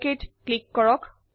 অক click কৰক